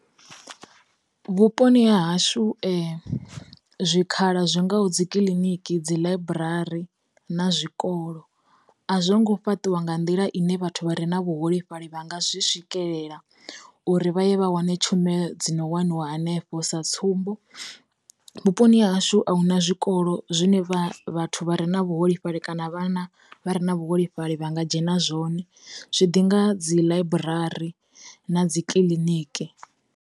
Vhuponi ha hashu zwikhala zwi ngaho dzi kiliniki dzi ḽaiburari na zwikolo, a zwongo fhaṱiwa nga nḓila ine vhathu vha re na vhuholefhali vha nga zwi swikelela uri vha ye vha wane tshumelo dzi no waniwa hanefho. Sa tsumbo, vhuponi hashu a hu na zwikolo zwine vhathu vha re na vhuholefhali kana vhana vha re na vhuholefhali vha nga dzhena zwone, zwi ḓi nga dzi ḽaiburari na dzi kiḽiniki.